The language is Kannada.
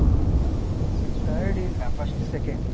Third ಇಲ್ಲ first, second .